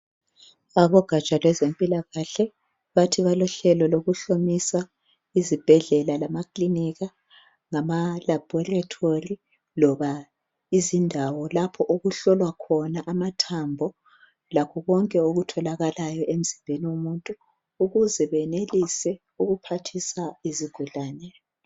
Abogatsha lwezempilakahle bathi balohlelo lokuhlomisa izibhedlela lamakiliniki ngamalaboratory loba izindawo lapho okuhlolwa khona amathambo lakho konke okutholakalayo emzimbeni womuntu ukuze benelise ukuphathisa izigulane.